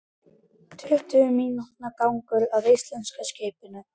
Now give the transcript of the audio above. Tuttugu mínútna gangur að íslenska skipinu.